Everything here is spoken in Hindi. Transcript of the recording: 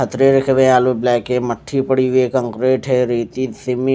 पथरे रखे हुए ब्लैक है मट्ठी पड़ी हुई है कंक्रीट है रेती सिमी --